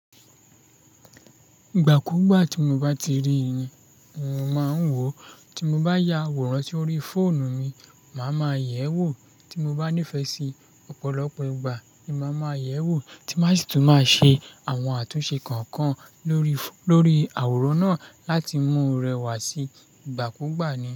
Ìgbà kú gbà tí mo bá ti rí i ni mo máa ń wò ó, tí mo bá ya àwòrán sórí fóònù mi, màá ma yẹ̀ wò ó tí mo bá nífẹ̀ẹ́ sí ọ̀pọ̀lọpọ̀ ìgbà ni màá ma yẹ̀ ẹ́ wò tí màá sì tún máa ṣe àwọn àtúnṣe kọ̀ọ̀kan lórí, lórí àwòrán náà láti mú rẹwà sí ìgbà kú gbà ni.